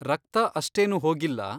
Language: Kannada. ರಕ್ತ ಅಷ್ಟೇನೂ ಹೋಗಿಲ್ಲ.